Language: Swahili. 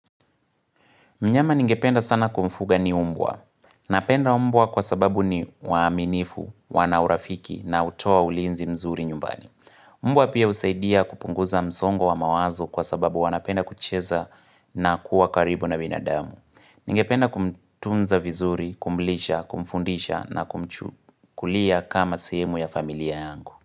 Mnyama ningependa sana kumfuga ni mbwa. Napenda mbwa kwa sababu ni waaminifu, wanaurafiki na hutoa ulinzi mzuri nyumbani. Mbwa pia husaidia kupunguza msongo wa mawazo kwa sababu wanapenda kucheza na kuwa karibu na binadamu. Ningependa kumtunza vizuri, kumlisha, kumfundisha na kumchukulia kama sehemu ya familia yangu.